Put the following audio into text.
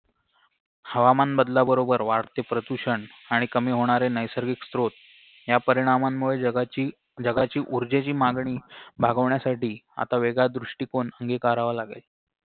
हवामान बदलाबरोबर वाढते प्रदूषण आणि कमी होणारे नैसर्गिक स्त्रोत या परिणामांमुळे जगाची जगाची ऊर्जेची मागणी भागवण्यासाठी आता वेगळा दृष्टिकोन अंगिकारावा लागेल